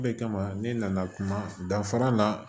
O de kama ne nana kuma danfara na